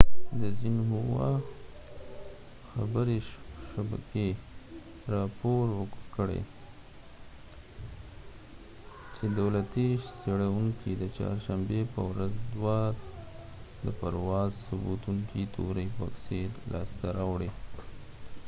xinhua خبرې شبکې راپور ورکړی چې دولتي څیړونکو د چهارشنبې په ورځ دوه د پرواز ثبتونکي تورې بکسې لاسته راوړي